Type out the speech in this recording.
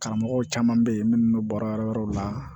Karamɔgɔw caman bɛ yen minnu bɛ baarayɔrɔ yɔrɔw la